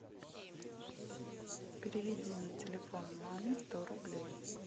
переведи на телефон маме сто рублей